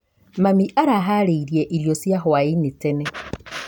Mami araharĩirie irio cia hwainĩ tene.